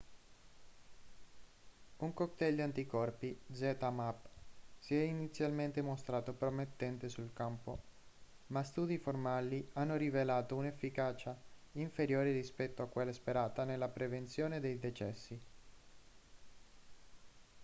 un cocktail di anticorpi zmapp si è inizialmente mostrato promettente sul campo ma studi formali hanno rivelato un'efficacia inferiore rispetto a quella sperata nella prevenzione dei decessi